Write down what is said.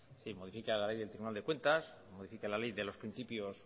modifica la ley del tribunal de cuentas modifica la ley de los principios